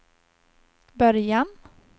början